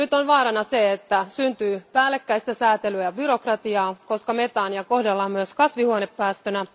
Vaarana on, että syntyy päällekkäistä säätelyä, byrokratiaa, koska metaania kohdellaan myös kasvihuonepäästönä.